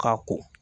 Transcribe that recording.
Ka ko